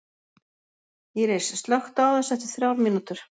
Íris, slökktu á þessu eftir þrjár mínútur.